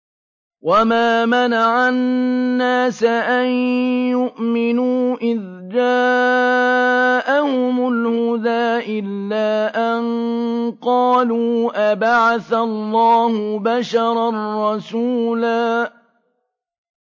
وَمَا مَنَعَ النَّاسَ أَن يُؤْمِنُوا إِذْ جَاءَهُمُ الْهُدَىٰ إِلَّا أَن قَالُوا أَبَعَثَ اللَّهُ بَشَرًا رَّسُولًا